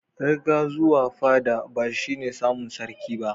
Riga zuwa fada bashi ne samun sarki ba